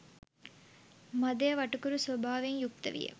මදය වටකුරු ස්වභාවයෙන් යුක්ත විය.